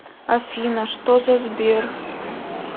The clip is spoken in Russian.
афина что за сбер